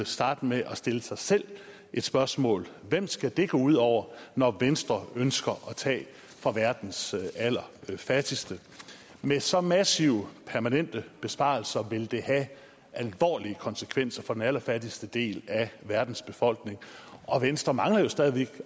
starte med at stille sig selv spørgsmålet hvem skal det gå ud over når venstre ønsker at tage fra verdens allerfattigste med så massive permanente besparelser vil det have alvorlige konsekvenser for den allerfattigste del af verdens befolkning og venstre mangler jo stadig væk